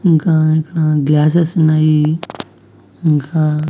ఇంకా ఇక్కడ గ్లాసెస్ ఉన్నాయి ఇంకా--